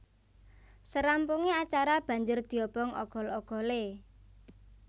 Sarampunge acara banjur diobong ogol ogole